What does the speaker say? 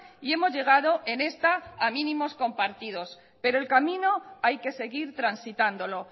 y hemos llegado en esta a mínimos compartidos pero el camino hay que seguir transitándolo